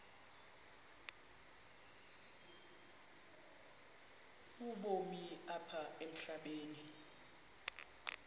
ubomi apha emhlabeni